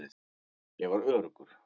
Ég var öruggur.